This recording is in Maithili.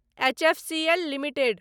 HFCL limited